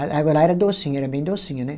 A água lá era docinha, era bem docinha, né?